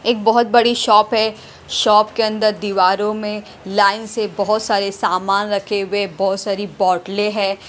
एक बहुत बड़ी शॉप है शॉप के अंदर दीवारों में लाइन से बहुत सारे सामान रखे हुए बहुत सारी बोतलें हैं।